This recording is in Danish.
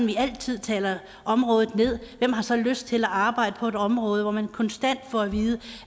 vi altid taler området ned hvem har så lyst til at arbejde på et område hvor man konstant får at vide